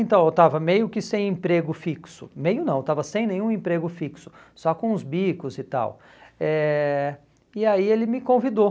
Então, eu estava meio que sem emprego fixo, meio não, eu estava sem nenhum emprego fixo, só com os bicos e tal, eh e aí ele me convidou.